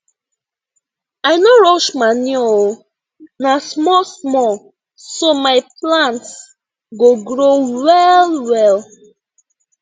i no rush manure oo na small small so my plants go grow well well